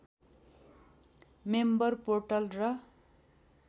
member portal र